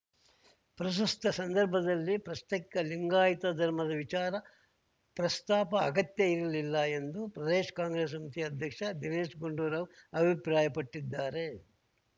ಪ್ರಸ್ತುತ ಸಂದರ್ಭದಲ್ಲಿ ಪ್ರಸ್ತೈಕ ಲಿಂಗಾಯಿತ ಧರ್ಮದ ವಿಚಾರ ಪ್ರಸ್ತಾಪ ಅಗತ್ಯ ಇರಲಿಲ್ಲ ಎಂದು ಪ್ರದೇಶ ಕಾಂಗ್ರೆಸ್‌ ಸಮಿತಿ ಅಧ್ಯಕ್ಷ ದಿನೇಶ ಗುಂಡೂರಾವ್‌ ಅಭಿಪ್ರಾಯ ಪಟ್ಟಿದ್ದಾರೆ